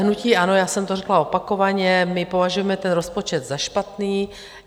Hnutí ANO, já jsem to řekla opakovaně, my považujeme ten rozpočet za špatný.